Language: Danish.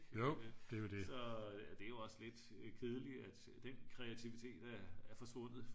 så det er jo også lidt kedeligt at den kreativitet er forsvundet